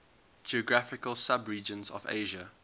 geographical subregions of asia